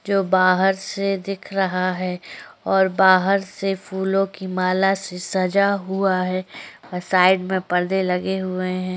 जो बाहर से दिख रहा है और बाहर से फूलों की माला से सजा हुआ है साइड में पर्दे लगे हुए है।